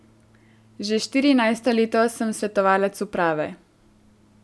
Že štirinajsto leto sem svetovalec uprave.